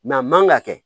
a man ka kɛ